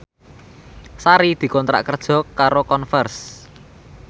Sari dikontrak kerja karo Converse